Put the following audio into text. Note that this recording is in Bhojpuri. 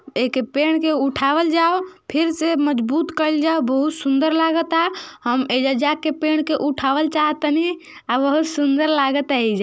एक पेड़ के उठावल जाव। फिर से मजबूत कईल जा। बहुत सुंदर लागता। हम एईजा जाके पेड़ के उठावल चाह तानी। आ बहुत सुंदर लागता एईजा।